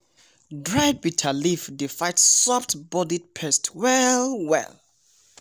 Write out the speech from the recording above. dried bitter leaf dey fight soft-bodied pest well well.